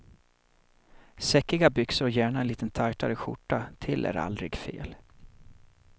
Säckiga byxor och gärna en lite tajtare skjorta till är aldrig fel.